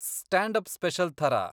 Stand up special ಥರ.